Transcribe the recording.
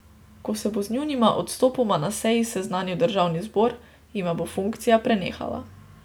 Ko se bo z njunima odstopoma na seji seznanil državni zbor, jima bo funkcija prenehala.